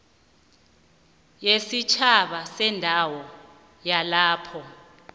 wesitjhaba sendawo yalapho